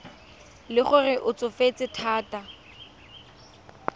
le gore o tsofetse thata